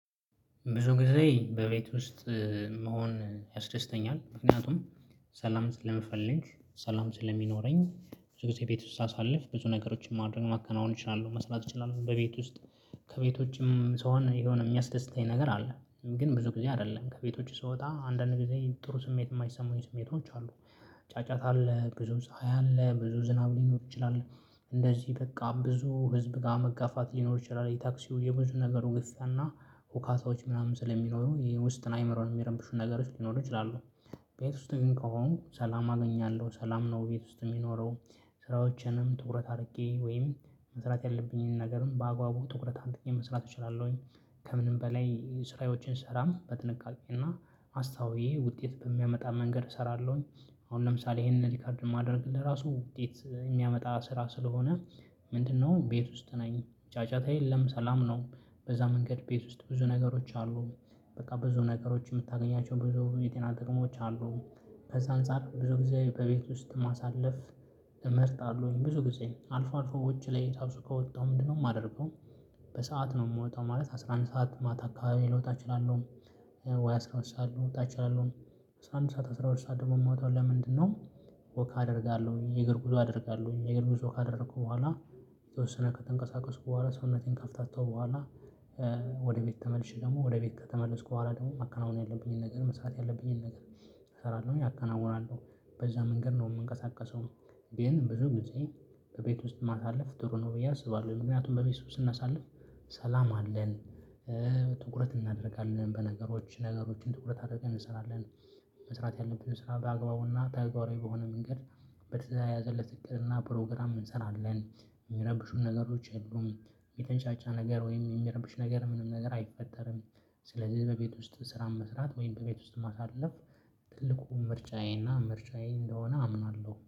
ብዙ ጊዜ በቤት ውስጥ መሆን ያስደስተኛል ምክንያቱም ሰላም ስለምፈልግ ሰላም ስለሚኖረኝ ብዙ ጊዜ ቤት ውስጥ ሳሳልፍ ብዙ ነገሮችን ማድረግ ማከናወን እችላለሁ መስራት እችላለሁ በቤት ውስጥ። ከቤት ውጭም ስሆን የሆነ የሚያስደስተኝ ነገር አለ ግን ብዙ ጊዜ አይደለም ከቤት ውጭ ስወጣ አንዳንድ ጊዜ ጥሩ ስሜት የማይሰማኝ ስሜቶች አሉ። ጫጫታ አለ ብዙ ፀሀይ አለ ብዙ ዝናብ ሊኖር ይችላል። እንደዚህ በቃ ብዙ ህዝብ ጋር መጋፋት ሊኖር ይችላል የታክሲው የብዙ ነገር ግፊያና ሁካታዎች ምናምን ስለሚኖሩ የውስጥ አይምሮን የሚረብሹ ነገሮች ሊኖሩ ይችላሉ። ቤት ውስጥ ግን ከሆንኩ ሰላም አገኛለሁ ሰላም ነው ቤት ውስጥ የሚኖረው ስራዎችንም ትኩረት አድርጌ ወይም መስራት ያለብኝን ነገርም በአግባቡ ትኩረት አድርጌ መስራት እችላለሁኝ። ከምንም በላይ ስራዎችን ስሰራም በጥንቃቄና አስተውዬ ውጤት በሚያመጣ መንገድ እሰራለሁኝ። አሁን ለምሳሌ ይሄንን ሪከርድ ማድረግ ለራሱ ውጤት የሚያመጣ ስራ ስለሆነ። ምንድነው ቤት ውስጥ ነኝ ጫጫታ የለም ሰላም ነው። በዛ መንገድ ቤት ውስጥ ብዙ ነገሮች አሉ። በቃ ብዙ ነገሮች የምታገኛቸው ብዙ የጤና ጥቅሞች አሉ። ከዛ አንፃር ብዙ ጊዜ በቤት ውስጥ ማሳለፍ። እመርጣለሁኝ ብዙ ጊዜ አልፎ አልፎ ውጪ ላይ ከወጣሁ ምንድነው የማደርገው? በሰአት ነው የምወጣው ማለት አስራ አንድ ሰዓት ማታ አካባቢ ልወጣ እችላለሁ። ወይ አስራ ሁለት ሰዓት ልወጣ እችላለሁ። አስራ አንድ ሰዓት አስራ ሁለት ሰዓት ደግሞ የምወጣው ለምንድነው? ወክ አደርጋለሁኝ የእግር ጉዞ አደርጋለሁኝ የእግር ጉዞ ካደረኩ በኋላ የተወሰነ ከተንቀሳቀሱ በኋላ ሰውነቴን ከፍታታው በኋላ። ወደ ቤት ተመልሼ ደግሞ ወደ ቤት ከተመለስኩ በኋላ ደግሞ ማከናወን ያለብኝን ነገር መስራት ያለብኝን ነገር። እሰራለሁ ያከናውናለሁ በዛ መንገድ ነው የምንቀሳቀሰው። ግን ብዙ ጊዜ በቤት ውስጥ ማሳለፍ ጥሩ ነው ብዬ አስባለሁ። ምክንያቱም በቤት ውስጥ ስናሳልፍ ሰላም አለን። ትኩረት እናደርጋለን በነገሮች ነገሮችን ትኩረት አድርገን እንሰራለን። መስራት ያለብን ስራ በአግባቡና ተግባራዊ በሆነ መንገድ። በተያዘለት እቅድና ፕሮግራም እንሰራለን። የሚረብሹን ነገሮች የሉም የሚንጫጫ ነገር ወይም የሚረብሽ ነገር ምንም ነገር አይፈጠርም። ስለዚህ በቤት ውስጥ ስራን መስራት ወይም በቤት ውስጥ ማሳለፍ። ትልቁ ምርጫዬና ምርጫዬ እንደሆነ አምናለሁ